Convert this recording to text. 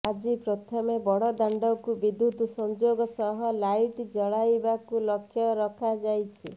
ଆଜି ପ୍ରଥମେ ବଡ଼ଦାଣ୍ଡକୁ ବିଦ୍ୟୁତ୍ ସଂଯୋଗ ସହ ଲାଇଟ୍ ଜଳାଇବାକୁ ଲକ୍ଷ୍ୟ ରଖାଯାଇଛି